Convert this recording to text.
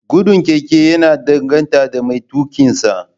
Gudun keke ya danganta da mai tuƙinsa